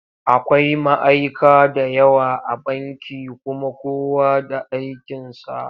Akwai ma'aika da yawa a banki kuma kowa da aikinsa.